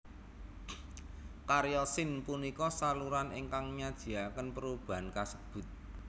Karya Sin punika saluran ingkang nyajiaken perubahan kasebut